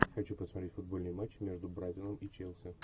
хочу посмотреть футбольный матч между брайтоном и челси